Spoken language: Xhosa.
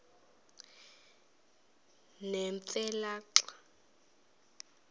nemfe le xa